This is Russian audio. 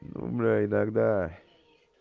ну бля иногда